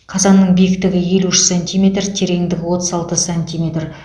қазанның биіктігі елу үш сантиметр тереңдігі отыз алты сантиметр